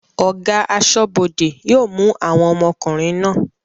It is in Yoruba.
Ọ̀gá aṣọ́bọdè yóò mú àwọn ọmọkùnrin náà